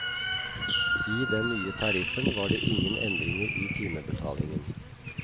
I den nye tariffen var det ingen endringer i timebetalingen.